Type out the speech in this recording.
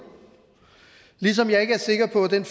ligesom jeg ikke er sikker på at den